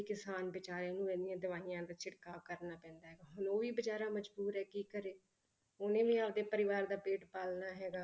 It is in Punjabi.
ਕਿਸਾਨ ਬੇਚਾਰੇ ਨੂੰ ਇੰਨੀਆਂ ਦਵਾਈਆਂ ਦਾ ਛਿੜਕਾਅ ਕਰਨਾ ਪੈਂਦਾ ਹੈਗਾ, ਹੁਣ ਉਹ ਵੀ ਬੇਚਾਰਾ ਮਜ਼ਬੂਰ ਹੈ ਕੀ ਕਰੇ, ਉਹਨੇ ਵੀ ਆਪਦੇ ਪਰਿਵਾਰ ਦਾ ਪੇਟ ਪਾਲਣਾ ਹੈਗਾ।